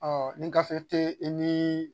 Ɔ ni gafe tɛ i ni